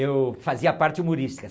Eu fazia a parte humorística.